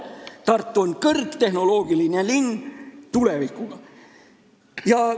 Tartu on kõrgtehnoloogiline linn, tulevikuga linn.